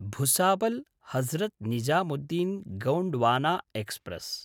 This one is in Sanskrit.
भुसावल्–हजरत् निजामुद्दीन् गोण्ड्वाना एक्स्प्रेस्